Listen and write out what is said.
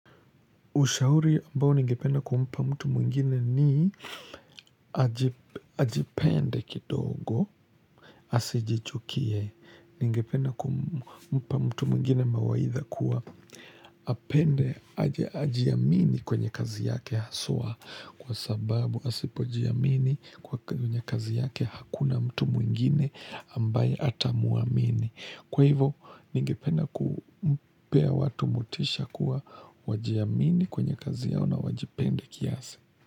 Ushauri ambao ningependa kumpa mtu mwngine ni ajipende kidogo, asijichukie. Ningependa kumpa mtu mwingine mawaitha kuwa apende, ajiamini kwenye kazi yake haswa. Kwa sababu, asipo jiamini kwenye kazi yake hakuna mtu mwingine ambaye atamuamini. Kwa hivyo, nigependa kupea watu motisha kuwa, wajiamini kwenye kazi yao na wajipende kiasi.